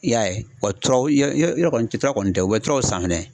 I y'a ye wa turaw yɔrɔ kɔni tura kɔni tɛ u bɛ turaw san fɛnɛ.